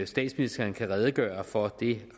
statsministeren kan redegøre for det